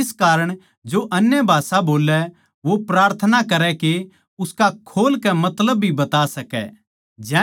इस कारण जो अन्य भाषा बोल्लै वो प्रार्थना करै के उसका खोल कै मतलब भी बता सकै